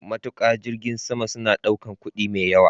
Matuka jirgin sama suna ɗaukar kuɗi mai yawa.